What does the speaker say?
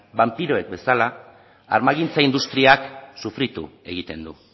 banpiroek bezala armagintza industriak sufritu egiten du